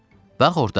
Bax orda.